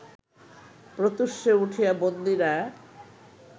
প্রত্যূষে উঠিয়া বন্দীরা